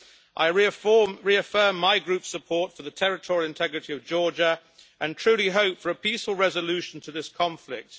I reaffirm my Group's support for the territorial integrity of Georgia and truly hope for a peaceful resolution to this conflict.